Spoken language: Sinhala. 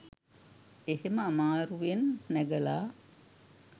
එහෙම අමාරුවෙන් නැගලා